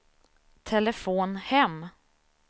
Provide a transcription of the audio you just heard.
telefon hem